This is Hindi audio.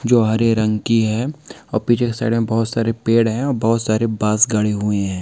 जो हरे रंग की है और पीछे के साइड में बहोत सारे पेड़ है और बहोत सारे बास गड़े हुए हैं।